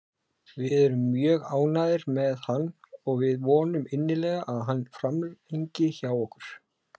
Við erum mjög ánægðir með hann og við vonum innilega að hann framlengi hjá okkur.